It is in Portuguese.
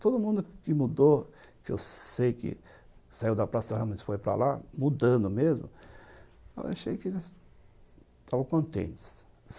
Todo mundo que mudou, que eu sei que saiu da Praça Ramos e foi para lá, mudando mesmo, eu achei que eles estavam contentes.